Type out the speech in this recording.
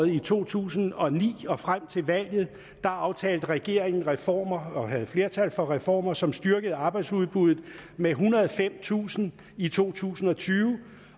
i to tusind og ni og frem til valget aftalte regeringen reformer og havde flertal for reformer som styrkede arbejdsudbuddet med ethundrede og femtusind i to tusind og tyve